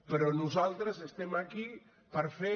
però nosaltres estem aquí per fer